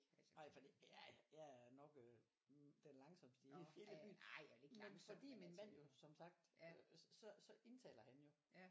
Nej for det ja jeg er nok øh den langsommste i hele byen men fordi min mand jo som sagt så så indtaler han jo